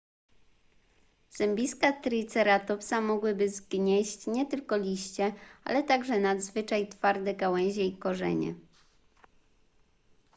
zębiska triceratopsa mogłyby zgnieść nie tylko liście ale także nadzwyczaj twarde gałęzie i korzenie